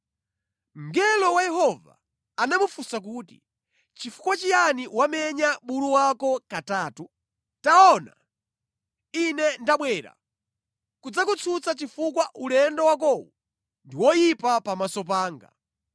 Mngelo wa Yehova anamufunsa kuti, “Chifukwa chiyani wamenya bulu wako katatu? Taona, Ine ndabwera kudzakutsutsa chifukwa ulendo wakowu ndi woyipa pamaso panga.